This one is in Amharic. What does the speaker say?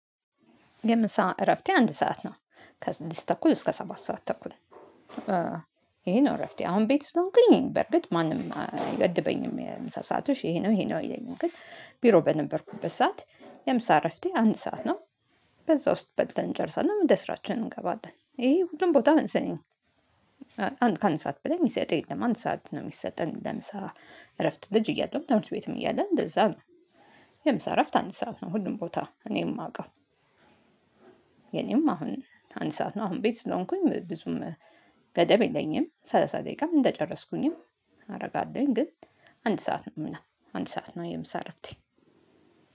የምሳ እረፍቴ አንድ ሰዓት ነው ከስድስት ተኩል እስከ ሰባት ሰዓት ተኩል። ይሄ ነው እረፍቴ አሁን ቤት ስትሆንኩኝ በርግጥ ማንም አይገድበኝም የምሳ ሰአትሽ ይሄ ነው ይሄ ነው አይለኝም። ግን ቢሮ በነበርኩበት ሰዓት የምሳ እረፍቴ አንድ ሰዓት ነው። በዛ ውስጥ በልተን እንጨርሳለን ወደስራችን እንገባለን ይሄ ሁሉም ቦታ መሰለኝ አንድ ከአንድ ሰዓት በላይ የሚሰጥ የለም። አንድ ሰዓት ነው የሚሰጠን ለምሳ እረፍት ልጅ እያለሁ ትምህርትቤትም እያለ እንደዛ ነው። የምሳእረፍት አንድ ሰዓት ነው ሁሉም ቦታ እኔ የማውቀው። የኔም አሁን አንድ ሰዓት ነው አሁን ቤት ስለሆንኩኝ ብዙም ገደብ የለኝም። ሰላሳ ደቂቃም እንደጨረስኩኝም አደርጋለሁኝ ግን አንድ ሰዓት ነው። አንድ ሰዓት ነው የምሳ እረፍቴ